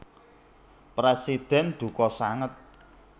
Presiden duka sanget